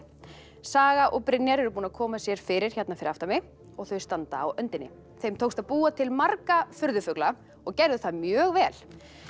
saga og Brynjar eru búin að koma sér fyrir hérna fyrir aftan mig og þau standa á öndinni þeim tókst að búa til marga furðufugla og gerðu það mjög vel